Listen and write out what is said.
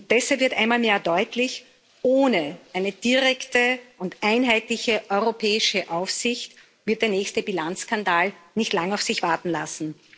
Deshalb wird einmal mehr deutlich Ohne eine direkte und einheitliche europäische Aufsicht wird der nächste Bilanzskandal nicht lange auf sich warten lassen.